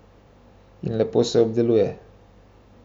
In lepo se obdeluje.